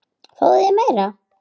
Fáðu þér meira!